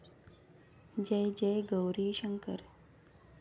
जय जय गौरी शंकर